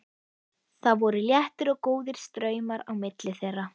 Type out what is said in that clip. Það voru léttir og góðir straumar á milli þeirra.